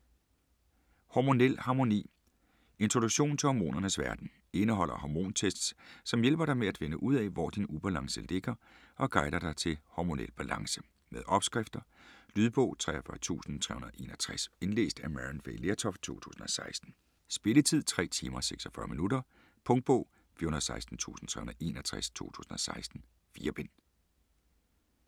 Hormonel harmoni Introduktion til hormonernes verden. Indeholder "hormontests", som hjælp dig med at finde ud af, hvor din ubalance ligger og guider dig til hormonel balance. Med opskrifter. Lydbog 43361 Indlæst af Maryann Fay Lertoft, 2016. Spilletid: 3 timer, 46 minutter. Punktbog 416361 2016. 4 bind.